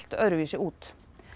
öðruvísi út